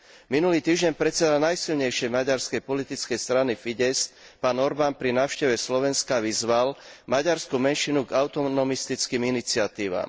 Minulý týždeň predseda najsilnejšej maďarskej politickej strany Fidesz pán Orban pri návšteve Slovenska vyzval maďarskú menšinu k autonomistickým iniciatívam.